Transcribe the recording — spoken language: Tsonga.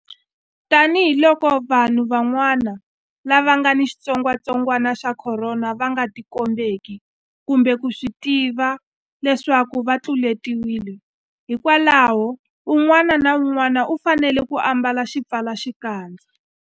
Tanihiloko vanhu van'wana lava nga ni xitsongwantsongwana xa Khorona va nga tikombeki kumbe ku swi tiva leswaku va tluletiwile, hikwalaho un'wana na un'wana u fanele ku ambala xipfalaxikandza.